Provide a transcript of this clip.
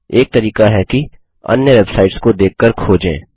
एक तरीका है कि अन्य वेबसाइट्स को देखकर खोजें